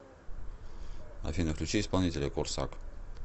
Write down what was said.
афина включи исполнителя корсак